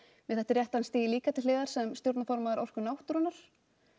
mér þætti rétt að hann stigi líka til hliðar sem stjórnarformaður Orku náttúrunnar